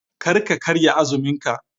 Kar ka karya azumin ka.